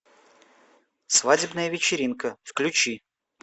свадебная вечеринка включи